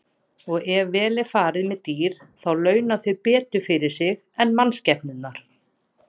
Og ef vel er farið með dýr þá launa þau betur fyrir sig en mannskepnurnar.